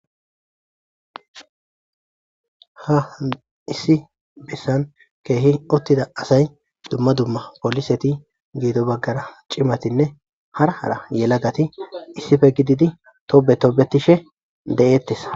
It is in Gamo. Ha issi bissan keehi ottida asay dumma dumma poliseti geedo baggara cimatinne hara hara yelagati issife gididi tobe toobetishe de'ettesa.